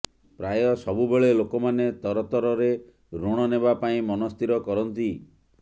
ପ୍ରାୟ ସବୁବେଳେ ଲୋକମାନେ ତରତରରେ ଋଣ ନେବା ପାଇଁ ମନ ସ୍ଥିର କରନ୍ତି